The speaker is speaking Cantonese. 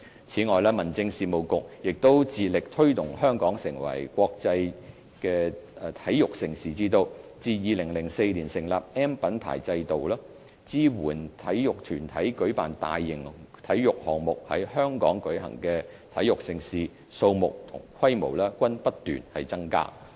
此外，民政事務局亦致力推動香港成為國際體育盛事之都，於2004年成立 "M" 品牌制度，支援體育團體舉辦大型體育項目，在香港舉行的體育盛事，數目和規模均不斷增加。